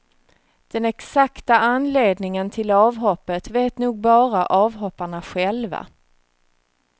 Den exakta anledningen till avhoppet vet nog bara avhopparna själva.